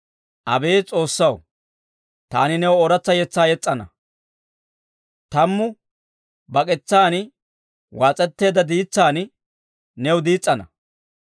Abeet S'oossaw, taani new ooratsa yetsaa yes's'ana; tammu bak'etsaan waas'etteedda diitsaan new diis's'ana.